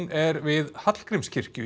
er við Hallgrímskirkju